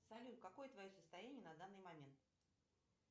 салют какое твое состояние на данный момент